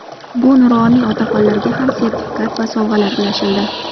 Bu nuroniy otaxonlarga ham sertifikat va sovg‘alar ulashildi.